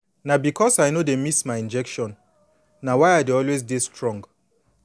na because say i no dey miss my injection na why i dey always dey strong